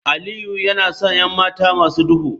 Aliyu yana son 'yan mata masu duhu